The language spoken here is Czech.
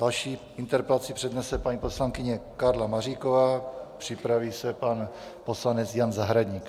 Další interpelaci přednese paní poslankyně Karla Maříková, připraví se pan poslanec Jan Zahradník.